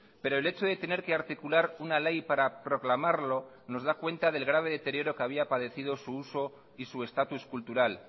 pero el hecho de tener que articular una ley para proclamarlo nos da cuenta del grave deterioro que había padecido su uso y su estatus cultural